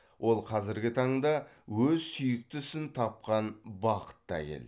ол қазіргі таңда өз сүйікті ісін тапқан бақытты әйел